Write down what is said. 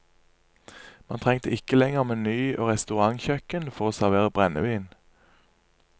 Man trengte ikke lenger meny og restaurantkjøkken for å servere brennevin.